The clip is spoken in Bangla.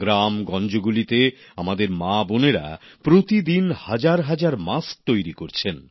গ্রাম গঞ্জগুলিতে আমাদের মা বোনেরা প্রতিদিন হাজার হাজার মাস্ক তৈরি করছেন